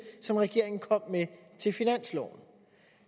som regeringen kom med til finansloven